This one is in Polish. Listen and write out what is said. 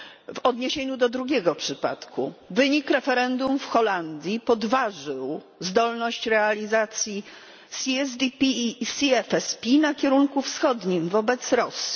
W odniesieniu do drugiego przypadku wynik referendum w Holandii podważył zdolność realizacji WPZiB WPBiO na kierunku wschodnim, wobec Rosji.